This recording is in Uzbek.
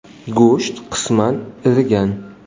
Go‘sht qisman irigan.